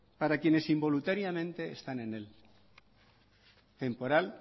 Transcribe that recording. para quienes involuntariamente están en él temporal